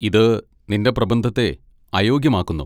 ഇത് നിന്റെ പ്രബന്ധത്തെ അയോഗ്യമാക്കുന്നു.